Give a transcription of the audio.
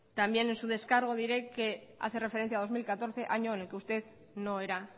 también en su descargo diré que hace referencia al dos mil catorce año en el que usted no era